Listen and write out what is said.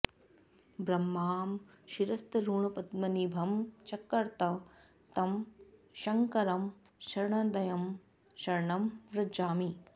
ब्राह्मं शिरस्तरुणपद्मनिभं चकर्त तं शङ्करं शरणदं शरणं व्रजामि